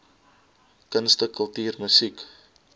kunste kultuur musiek